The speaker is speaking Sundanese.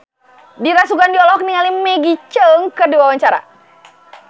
Dira Sugandi olohok ningali Maggie Cheung keur diwawancara